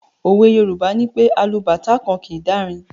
òwe Yorùbá nipé “ alubàtá kan kìí dárin”.